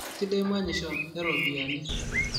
Keisidai manyisho eropiyiani